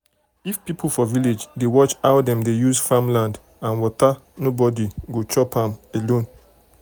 if people for village dey watch how dem use farm land and water nobody go chop am alone.